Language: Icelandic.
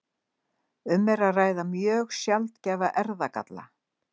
Um er að ræða mjög sjaldgæfan erfðagalla.